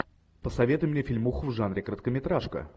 посоветуй мне фильмуху в жанре короткометражка